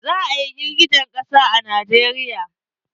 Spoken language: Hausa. Za a yi girgijen ƙasa a Najeriya.